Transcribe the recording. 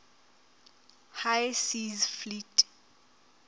high seas fleet